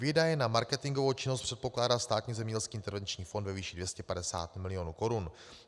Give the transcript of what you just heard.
Výdaje na marketingovou činnost předpokládá Státní zemědělský intervenční fond ve výši 250 milionů korun.